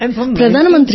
ప్రధాన మంత్రి గారూ